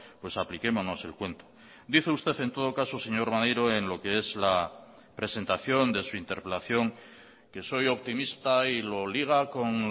pues apliquémonos el cuento dice usted en todo caso señor maneiro en lo que es la presentación de su interpelación que soy optimista y lo liga con